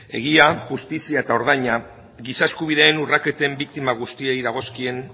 egia justizia eta ordaina giza eskubideen urraketen biktima guztiei dagozkien